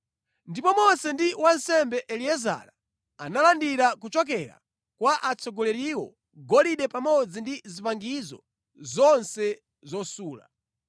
Ndipo Mose ndi wansembe Eliezara analandira kuchokera kwa atsogoleriwo golide pamodzi ndi zipangizo zonse zosula.